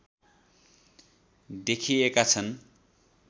देखिएका छन्